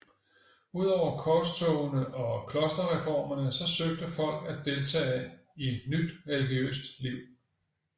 Udover korstogene og klosterreformerne så søgte folk at deltage i nyt religiøst liv